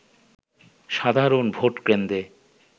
সাধারণ ভোটকেন্দ্রে